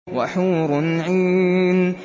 وَحُورٌ عِينٌ